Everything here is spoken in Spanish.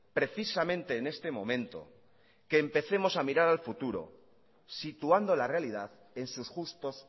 precisamente en este momento que empecemos a mirar al futuro situando la realidad en sus justos